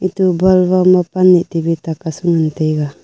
tu bun ba ma pan aa tu bhi tan a taiga.